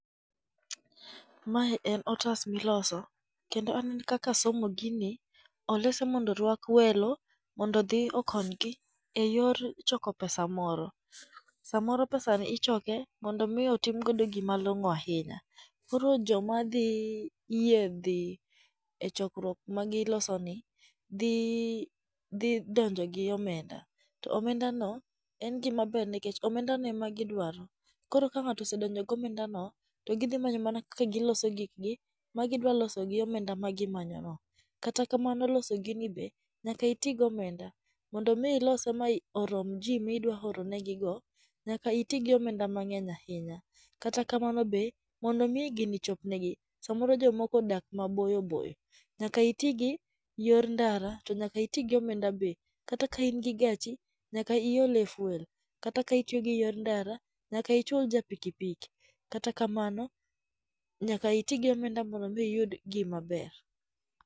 Mae en otas miloso kendo anene kaka asomo gini, olose mondo orwak welo mondo odhi okonygi e yor choko pesa moro. Samoro pesani ichoke mondo mi otim godo gima long'o ahinya. Koro joma dhi yie dhi e chokruok ma gilosoni, dhi donjo gi omenda, to omendano en gima ber nikech omendano ema gidwaro. Koro ka ng'ato osedonjo gi omendano to gidhi manyo mana kaka giloso gikgi ma gidwa loso gi omenda ma gimanyono. Kata kamano loso gini be nyaka iti gi omenda, mondi mi ilose ma ir orom ji midwa oronegigo, nyaka iti gi omenda mang'eny ahinya. Kata kamano be, mondo mi gini chopnegi, samoro jomoko odak maboyo boyo nyaka iti gi yor ndara to nyaka iti gi omenda be. Kata ka in gi gachi nyaka ilo e fuel. Kata ka itiyo gi yor ndara, nyaka ichul ja piki piki. Kata kamano nyaka iti gi omenda mondo mi iyud gima ber.